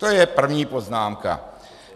To je první poznámka.